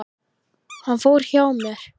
Hann fór hjá sér.